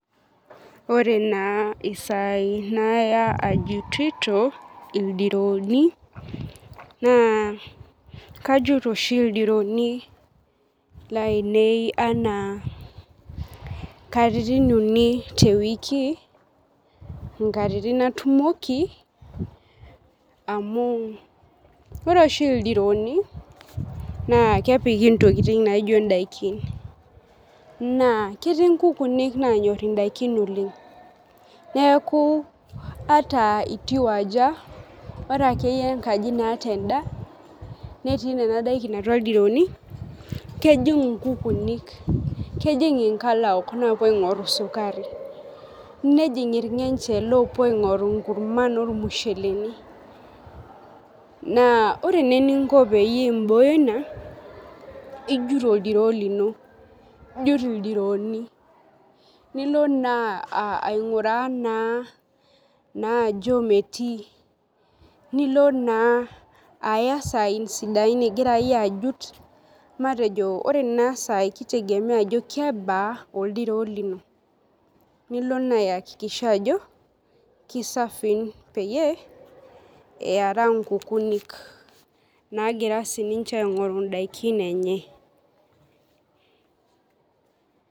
Ore naa saai naya ajutito ildirooni ,naa kajut aoshi ildirooni lainei enaa katitin uni teweki nkatitin natumoki amu ore oshi ildirooni naa kepiki ntokiting naijo ndaiki naa ketii nkukunik naanyor daikin oleng ,neeku ata itii aja ore akeyie enkaji naata endaa netii nena daikin atua ildirooni, kejing nkukunik ,kenjing nkalaok napuo aingoru sukari ,nejing irgenje loopuo aingoru nkurman ormusheleni ,naa ore naa eninko peyie imbooyo ina naa ijut oldiroo lino, ijut ildirooni nilo naa ainguraa ajo metii, nilo naa aya saai sidain ingira yie ajut ,ore naa saai na matejo kitegemea ajo kebaa oldiroo lino ,nilo naa ayakikisha ajo kisafii peyie iyaraa nkukunik naagira siininche aingoru ndaikin enche .